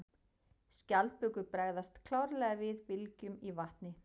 Skjaldbökur bregðast klárlega við bylgjum í vatni.